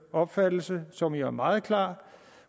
opfattelse som jo er meget klar